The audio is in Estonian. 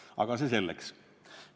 Aga see selleks.